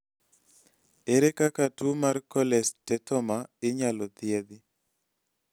ere kaka tuwo mar cholesteatoma inyalo thiedh?